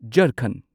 ꯖꯔꯈꯟꯗ